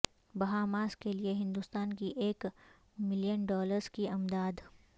Bahamas کیلئے ہندوستان کی ایک ملین ڈالرس کی امداد